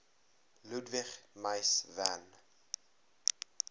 ludwig mies van